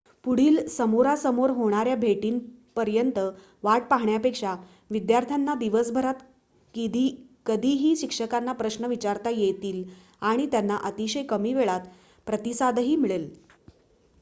पुढील समोरासमोर होणाऱ्या भेटीपर्यंत वाट पाहण्यापेक्षा विद्यार्थ्यांना दिवसभरात कधीही शिक्षकांना प्रश्न विचारता येतील आणि त्यांना अतिशय कमी वेळात प्रतिसादही मिळेल